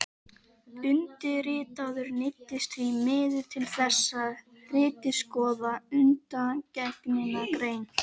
Undirritaður neyddist því miður til þess að ritskoða undangengna grein